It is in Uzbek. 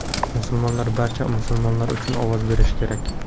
Musulmonlar barcha musulmonlar uchun ovoz berishi kerak.